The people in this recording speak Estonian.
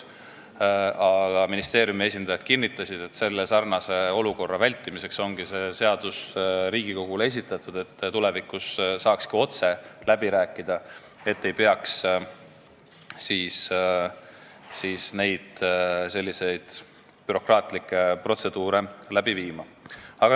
Aga ministeeriumi esindajad kinnitasid, et selle olukorra vältimiseks ongi see seadus Riigikogule esitatud, et tulevikus saaks otse läbi rääkida ega peaks selliseid bürokraatlikke protseduure läbi tegema.